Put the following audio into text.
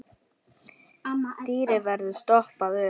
Dýrið verður stoppað upp.